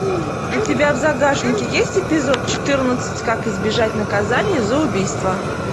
у тебя в загашнике есть эпизод четырнадцать как избежать наказания за убийство